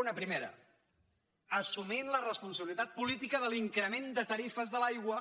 una primera assumint la responsabilitat política de l’increment de tarifes de l’aigua